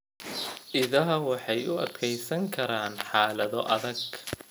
Idaha waxay u adkeysan karaan xaalado adag.